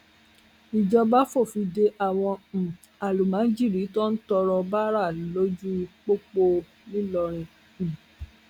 ìjọba fòfin de àwọn um àlùmọjírì tó ń tọrọ báárà lójú pópó ńlọrọrìn um